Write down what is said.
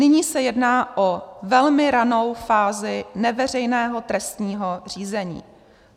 Nyní se jedná o velmi ranou fázi neveřejného trestního řízení.